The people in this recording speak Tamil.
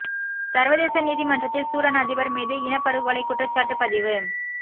சர்வதேச நீதிமன்றத்தில் சூடான் அதிபர் மீது இனப் படுகொலை குற்றச்சாட்டு பதிவு